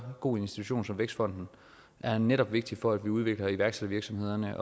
god institution som vækstfonden er netop vigtigt for at vi udvikler iværksættervirksomhederne